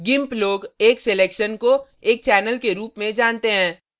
gimp लोग एक selection को एक channel के रूप में जानते हैं